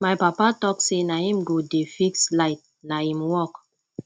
my papa tok say na him go dey fix light na im work